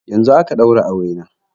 Yanzun aka ɗaura aure na